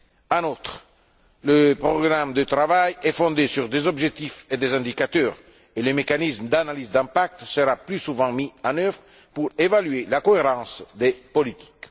En outre, le programme de travail est fondé sur des objectifs et des indicateurs et les mécanismes d'analyse d'impact seront plus souvent mis en œuvre pour évaluer la cohérence des politiques.